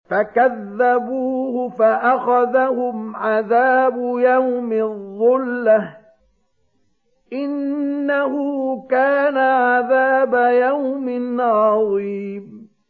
فَكَذَّبُوهُ فَأَخَذَهُمْ عَذَابُ يَوْمِ الظُّلَّةِ ۚ إِنَّهُ كَانَ عَذَابَ يَوْمٍ عَظِيمٍ